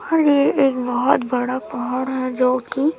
और ये एक बहुत बड़ा पहाड़ है जो की--